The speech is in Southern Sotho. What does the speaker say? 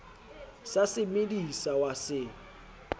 sa se medisa wa se